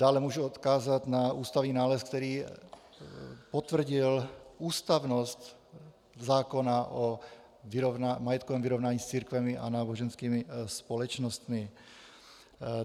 Dále můžu odkázat na ústavní nález, který potvrdil ústavnost zákona o majetkovém vyrovnání s církvemi a náboženskými společnostmi.